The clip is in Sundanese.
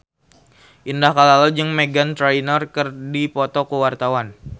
Indah Kalalo jeung Meghan Trainor keur dipoto ku wartawan